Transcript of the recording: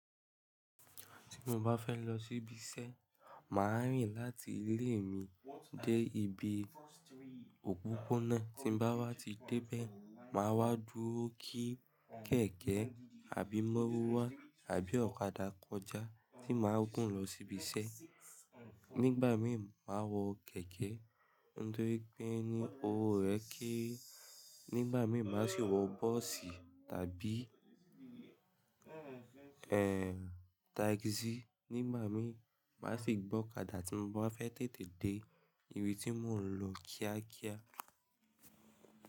Tí mo bá fẹ́ lọ síbi iṣẹ́, màá rìn láti ilé mi dé ibi òpópónà, tí bá wá ti dé ibẹ máa wá dúró kí kẹ̀kẹ́ àbí mọ́ruwá àbí ọ̀kadà kọjá tí màá gùn lọ síbi iṣẹ́. Nígbà mí màá wọ kẹ̀kẹ́, nitori pe ní owó rẹ̀ kéré, nígbà mí má sì wọ bọ́ọ̀sì tàbí, ẹ, táìsì nígbà mí màá sì gbọ́ ọ̀kadà tí mo bá fẹ́ tètè dé ibi tí mò ń lọ kíákíá.